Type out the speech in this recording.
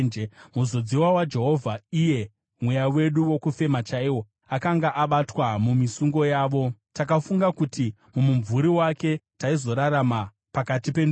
Muzodziwa waJehovha, iye mweya wedu wokufema chaiwo, akanga abatwa mumisungo yavo. Takafunga kuti mumumvuri wake taizorarama pakati pendudzi.